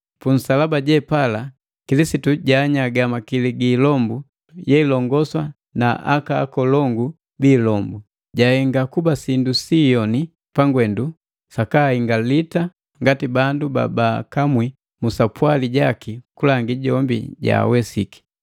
Punsalaba jepala Kilisitu jaanyaga makili gi ilombu yeilongosa naka akolongu bi ilombu, jahenga kuba sindu siyoni pangwendu sakaahingalita ngati bandu babaakamwi mu sapwali jaki kulangi jombi jaawesiki.